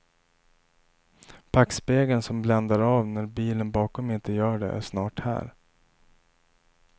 Backspegeln som bländar av när bilen bakom inte gör det är snart här.